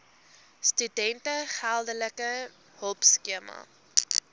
studente geldelike hulpskema